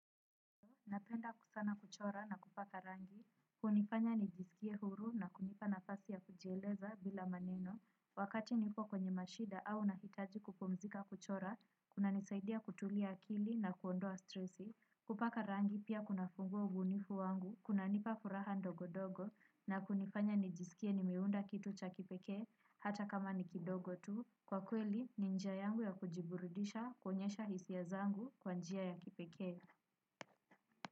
Napenda kusana kuchora na kupaka rangi. Hunifanya nijisikie huru na kunipa nafasi ya kujieleza bila maneno. Wakati nipo kwenye mashida au nahitaji kupumzika kuchora, kuna nisaidia kutulia akili na kuondoa stresi. Kupaka rangi pia kuna fungua ubunifu wangu kuna nipa furaha ndogo dogo na kunifanya nijisikie nimeunda kitu cha kipekee, hata kama nikidogo tu. Kwa kweli, ninjia yangu ya kujiburidisha, kuonyesha hisia zangu kwanjia ya kipekee.